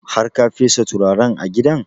Har ka fesa turaren a gidan?